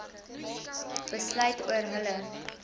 besluit oor hulle